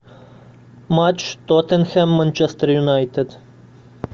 матч тоттенхэм манчестер юнайтед